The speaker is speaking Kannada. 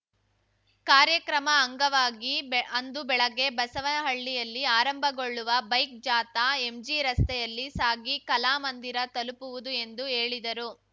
ಕಾರ್ಯಕ್ರಮ ಅಂಗವಾಗಿ ಬೆ ಅಂದು ಬೆಳಗ್ಗೆ ಬಸವನಹಳ್ಳಿಯಲ್ಲಿ ಆರಂಭಗೊಳ್ಳುವ ಬೈಕ್‌ ಜಾಥಾ ಎಂಜಿ ರಸ್ತೆಯಲ್ಲಿ ಸಾಗಿ ಕಲಾಮಂದಿರ ತಲುಪುವುದು ಎಂದು ಹೇಳಿದರು